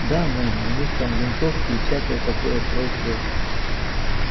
да мэм у них там винтовки и всякое такое прочее